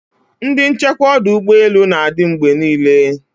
Ndi nchekwa ọdụ ụgbọ elu na-adị mgbe niile